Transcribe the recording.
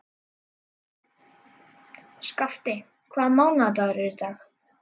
Skafti, hvaða mánaðardagur er í dag?